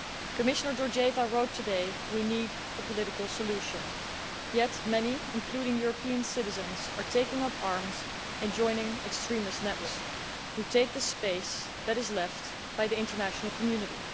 Commissioner Georgieva wrote today that we need a political solution, yet many, including European citizens, are taking up arms and joining extremist networks that take the space that is left by the international community.